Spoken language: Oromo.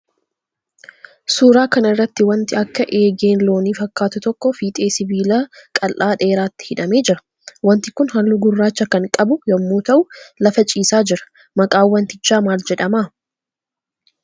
Suuraa kana irratti waanti akka eegeen loonii fakkaatu tokko fiixee sibiila qal'aa dheeraatti hidhamee jira. Waanti kun halluu gurrraacha kan qabu yammuu ta'uu lafa ciisaa jira. maqaan wantiichaa maal jedhama?